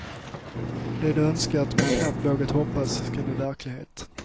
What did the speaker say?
Det de önskat men knappt vågat hoppas ska bli verklighet.